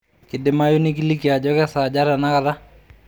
kidimayu nikiliki ajo kesaaja tenakata